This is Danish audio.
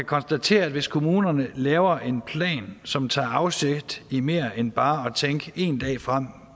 konstatere at hvis kommunerne laver en plan som tager afsæt i mere end bare at tænke én dag frem og